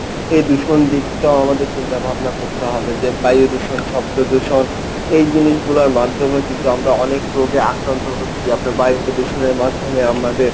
এই দূষণ দিকটাও আমাদের চিন্তা ভাবনা হবে যে বায়ুদূষণ, শব্দ দূষণ এই জিনিসগুলোর মাধ্যমেও কিন্তু আমরা অনেক রোগে আক্রান্ত হচ্ছি আপনার বায়ু দূষণের মাধ্যমে আমাদের,